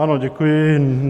Ano, děkuji.